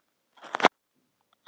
Ármann, hvernig er veðrið úti?